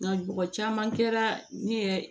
Nka mɔgɔ caman kɛra ne ye